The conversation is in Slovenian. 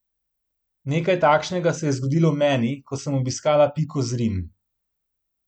Nekaj takšnega se je zgodilo meni, ko sem obiskala Piko Zrim.